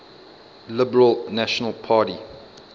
liberal national party